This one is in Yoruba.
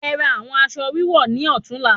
E ra awon aṣọ wíwọ̀ni ọtún la